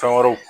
Fɛn wɛrɛw